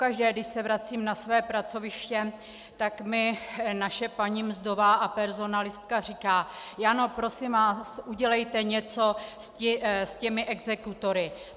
Pokaždé, když se vracím na své pracoviště, tak mi naše paní mzdová a personalistka říká: Jano, prosím vás, udělejte něco s těmi exekutory.